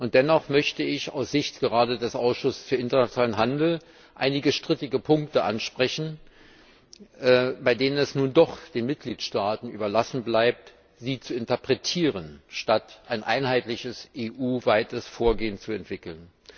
Und dennoch möchte ich gerade aus Sicht des Ausschusses für internationalen Handel einige strittige Punkte ansprechen, bei denen es nun doch den Mitgliedstaaten überlassen bleibt, sie zu interpretieren, statt ein einheitliches EU weites Vorgehen zu entwickeln.